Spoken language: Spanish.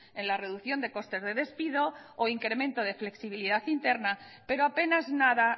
en la reducción de costes de despido o incremento de flexibilidad interna pero apenas nada